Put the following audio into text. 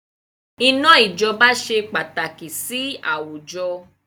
Iná ijọba ṣe pàtàkì sì àwùjọ